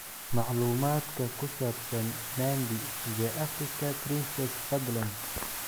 macluumaadka ku saabsan nandi the africa princess fadlan